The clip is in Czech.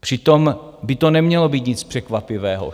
Přitom by to nemělo být nic překvapivého.